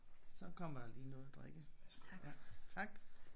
Så kommer der lige noget at drikke tak